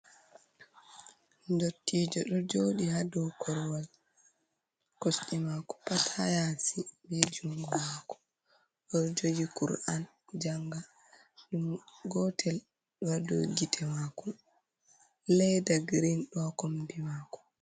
Ndottije ɗo joɗi hadow korwal, kosɗe mako pat ha yasi be jungo mako, o ɗo jogi kur’an janga, jungo gotel ɗohadow gite mako leda girin ɗo kombi mako.